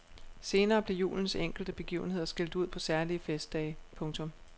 Senere blev julens enkelte begivenheder skilt ud på særlige festdage. punktum